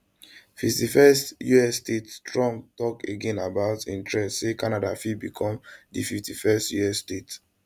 51st us statetrump tok again about im threat say canada fit become di 51st us state